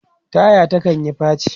taya ta kanyi faci